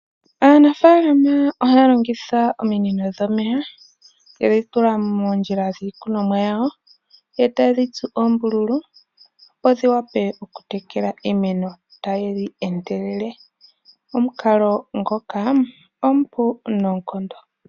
Aanafalama ohaya longitha ominino dhomeya, yedhi tula moondjila dhiikunwamo yawo e taye dhitsu oombululu opo dhi wape okutekela iimemo tadhi endelele, omukalo ngoka omupu noonkondo.